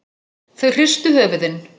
Þau hristu höfuðin.